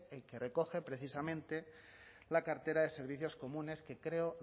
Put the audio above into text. el que recoge precisamente la cartera de servicios comunes que creo